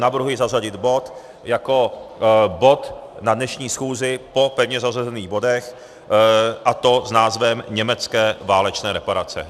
Navrhuji zařadit bod jako bod na dnešní schůzi po pevně zařazených bodech, a to s názvem Německé válečné reparace.